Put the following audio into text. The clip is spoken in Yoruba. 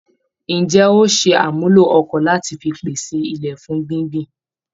Ǹjé óò ṣe àmúlò ọkọ́ lati fi pese ilẹ̀ fún gbíngbìn